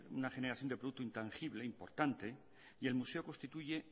una generación de producto intangible importante y el museo constituye